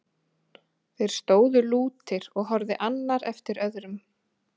Þeir stóðu lútir og horfði annar eftir öðrum.